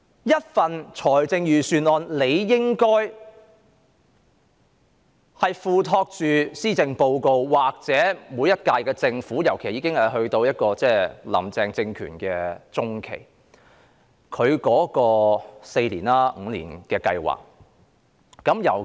一份預算案理應體現施政報告的措施或每屆政府的施政，尤其在今年"林鄭"政權已進入中期，亦即她提出的4年或5年計劃的實施中期。